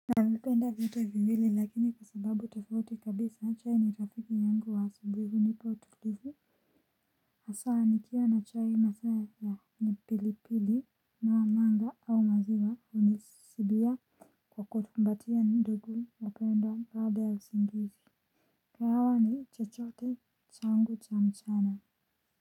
Navipenda vitu viwili lakini kwa sababu tofauti kabisa chai ni rafiki yangu wa asubuhi hunipa utulivu hasa nikiwa na chai masaa ya ni pilipili na wa manga au maziwa hunisidia kwa kutumbatia ndugu mpendwa baada ya usingizi kahawa ni chochote changu cha mchana.